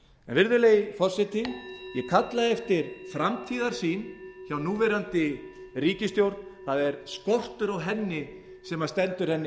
virðulegi forseti ég kalla eftir framtíðarsýn hjá núverandi ríkisstjórn það er skortur á henni sem stendur henni